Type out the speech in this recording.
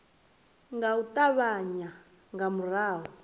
nga u ṱavhanya nga murahu